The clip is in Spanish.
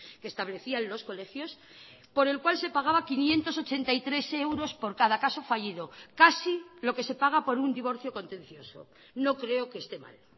que establecían los colegios por el cual se pagaba quinientos ochenta y tres euros por cada caso fallido casi lo que se paga por un divorcio contencioso no creo que esté mal